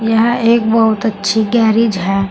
यह एक बहुत अच्छी गैरीज है।